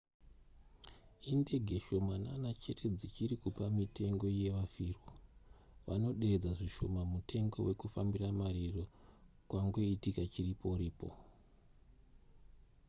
indege shomanana chete dzichiri kupa mitengo yevafirwa vanoderedza zvishoma mutengo wekufambira mariro kwangoitika chiripo-ripo